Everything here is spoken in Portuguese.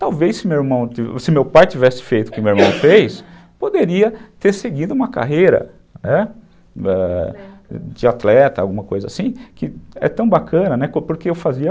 Talvez se meu pai tivesse feito o que meu irmão fez, poderia ter seguido uma carreira de atleta, alguma coisa assim, que é tão bacana, né, porque eu fazia...